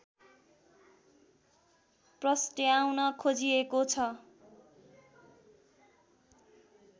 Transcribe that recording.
प्रस्ट्याउन खोजिएको छ